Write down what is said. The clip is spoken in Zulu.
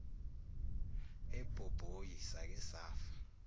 ebhobhoyi sake safa